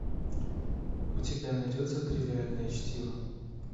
у тебя найдется тривиальное чтиво